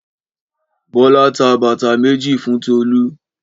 Bọ́lá ta bàtà méjì fún Tolú.